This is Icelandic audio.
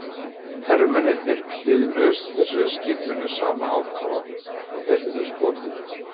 Hermennirnir hlýðnuðust þessari skipun með sama ákafa og þeir höfðu skotið.